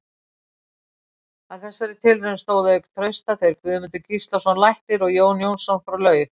Að þessari tilraun stóðu auk Trausta þeir Guðmundur Gíslason læknir og Jón Jónsson frá Laug.